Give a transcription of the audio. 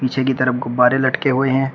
पीछे की तरफ गुब्बारे लटके हुए हैं।